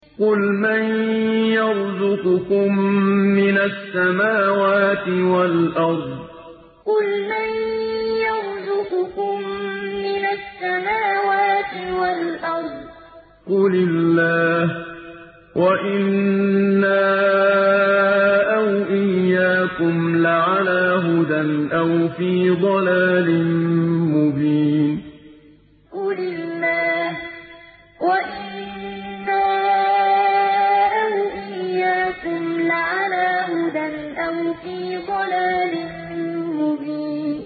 ۞ قُلْ مَن يَرْزُقُكُم مِّنَ السَّمَاوَاتِ وَالْأَرْضِ ۖ قُلِ اللَّهُ ۖ وَإِنَّا أَوْ إِيَّاكُمْ لَعَلَىٰ هُدًى أَوْ فِي ضَلَالٍ مُّبِينٍ ۞ قُلْ مَن يَرْزُقُكُم مِّنَ السَّمَاوَاتِ وَالْأَرْضِ ۖ قُلِ اللَّهُ ۖ وَإِنَّا أَوْ إِيَّاكُمْ لَعَلَىٰ هُدًى أَوْ فِي ضَلَالٍ مُّبِينٍ